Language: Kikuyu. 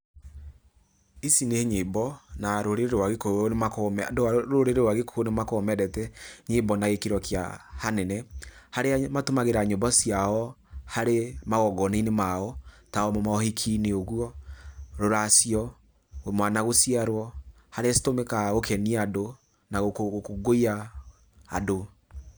ĩci nĩ nyĩmbo, na rũrĩrĩ-inĩ rwa gikũyũ nĩ makoragwo me andũ a rũrĩrĩ rwa gĩkũyũ nĩ makoragwo mendete nyĩmbo na gĩkĩro kĩa hanene, harĩa matũmagira nyĩmbo ciao harĩ magongona-inĩ mao, ta mohiki-inĩ ũguo, rũracio, mwana gũciarwo, harĩa citũmĩkaga gũkenia andũ na gũkũngũiya andũ.